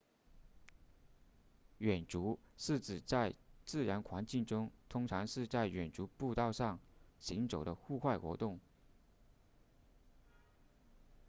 远足是指在自然环境中通常是在远足步道上行走的户外活动